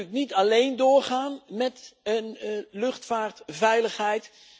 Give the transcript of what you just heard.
VK kan natuurlijk niet alleen doorgaan met luchtvaartveiligheid.